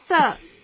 Yes sir